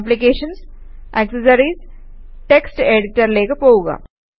ആപ്ലിക്കേഷൻസ്gt accessories GT text എഡിറ്ററിലേക്ക് പോകുക